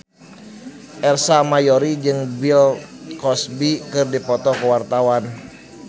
Ersa Mayori jeung Bill Cosby keur dipoto ku wartawan